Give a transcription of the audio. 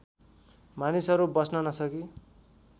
मानिसहरू बस्न नसकी